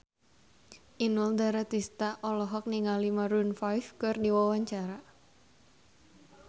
Inul Daratista olohok ningali Maroon 5 keur diwawancara